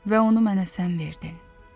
Və onu mənə sən verdin.